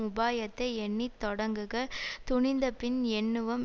உபாயத்தை எண்ணி தொடங்குக துணிந்தபின் எண்ணுவம்